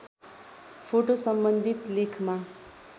photo सम्बन्धित लेखमा